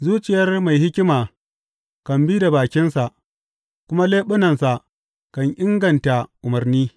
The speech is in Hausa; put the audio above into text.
Zuciyar mai hikima kan bi da bakinsa, kuma leɓunansa kan inganta umarni.